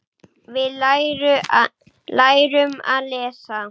Við lærum að lesa.